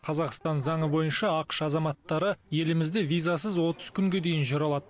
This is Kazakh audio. қазақстан заңы бойынша ақш азаматтары елімізде визасыз отыз күнге дейін жүре алады